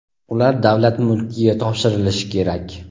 ular davlat mulkiga topshirilishi kerak.